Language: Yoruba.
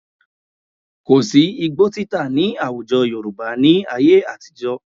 Kò sí́ igbó títà nih àwùjọ Yorùbá ní ayé àtijọ́